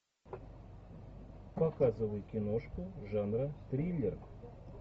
показывай киношку жанра триллер